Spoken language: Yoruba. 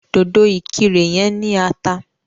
Dòdò ìkirè yẹn ní ata.